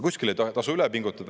Kuskil ei tasu üle pingutada.